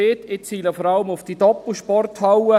Ich ziele vor allem auf diese Doppelsporthalle.